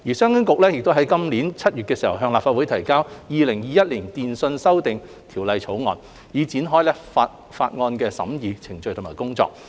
商務及經濟發展局遂於今年7月向立法會提交《2021年電訊條例草案》，以展開法案的審議程序和工作。